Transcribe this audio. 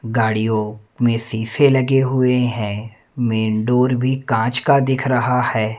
गाड़ियों में शीशे लगे हुए हैं मेन डोर भी कांच का दिख रहा है।